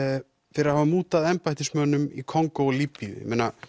fyrir að hafa mútað embættismönnum í Kongó og Líbýu